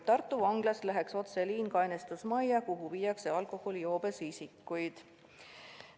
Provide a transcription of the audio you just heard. Tartu Vanglast läheks otseliin kainestusmajja, kuhu viiakse alkoholijoobes isikuid.